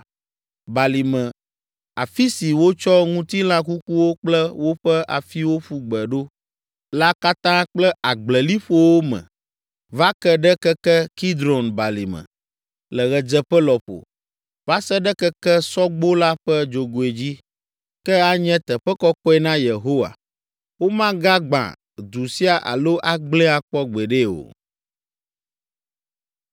Balime afi si wotsɔ ŋutilã kukuwo kple woƒe afiwo ƒu gbe ɖo la katã kple agbleliƒowo me va ke ɖe keke Kidron Balime, le ɣedzeƒe lɔƒo, va se ɖe keke Sɔgbo la ƒe dzogoe dzi, ke anye teƒe kɔkɔe na Yehowa. Womagagbã du sia alo agblẽe akpɔ gbeɖe o.”